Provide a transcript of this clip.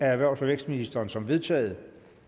erhvervs og vækstministeren som vedtaget